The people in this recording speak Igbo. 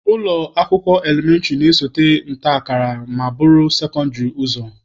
Ụlọ akwụkwọ elementịrị na-esote nta akara ma buru sekondịrị ụzọ.